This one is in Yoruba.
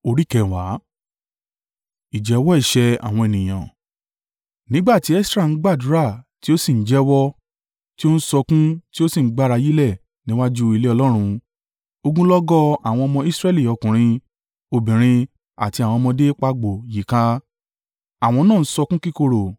Nígbà tí Esra ń gbàdúrà tí ó sì ń jẹ́wọ́, ti ó ń sọkún ti ó sì ń gbárayílẹ̀ níwájú ilé Ọlọ́run, ogunlọ́gọ̀ àwọn ọmọ Israẹli ọkùnrin, obìnrin àti àwọn ọmọdé pagbo yí i ká. Àwọn náà ń sọkún kíkorò.